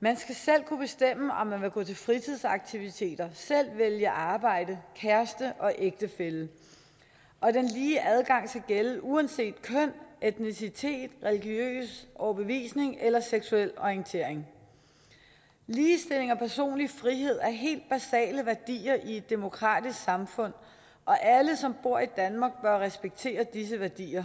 man skal selv kunne bestemme om man vil gå til fritidsaktiviteter selv vælge arbejde kæreste og ægtefælle og den lige adgang skal gælde uanset køn etnicitet religiøs overbevisning eller seksuel orientering ligestilling og personlig frihed er helt basale værdier i et demokratisk samfund og alle som bor i danmark bør respektere disse værdier